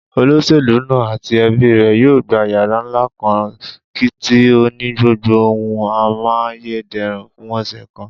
Olós̩èlú náà àti e̩bí rè̩ yóò gba yàrá ńlá kan tí ó ní gbogbo ohun amáyéde̩rùn fún ò̩sè̩ kan